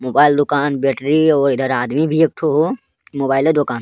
मोबाइल दुकान बैटरी इवो इधर आदमी भी एकठो हो मोबाइले दुकान --